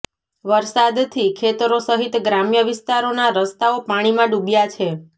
વરસાદથી ખેતરો સહિત ગ્રામ્ય વિસ્તારોનાં રસ્તાઓ પાણીમાં ડૂબ્યા છે